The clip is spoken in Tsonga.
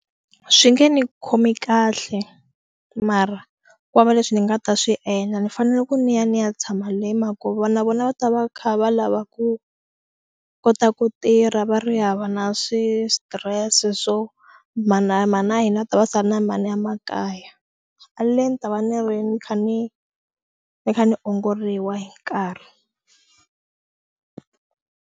Swi nge ni khomi kahle mara ku vava leswi ni nga ta swi endla ni fanele ku ni ya ni ya tshama le hi mhaka ko va na vona va ta va kha va lava ku kota ku tirha va ri hava na swi stress swo mhani na mhani na hina va ta va sala na mani a makaya a le ni ta va ni ri ni kha ni ni kha ni ongoriwa hi nkarhi.